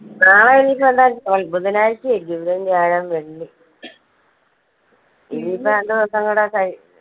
നാളെ ഇനീപ്പോ എന്താ ബുധനാഴ്ച അല്ലെ, ബുധൻ, വ്യാഴം, വെള്ളി ഇനീപ്പോ രണ്ട് ദിവസം കൂടെ കഴി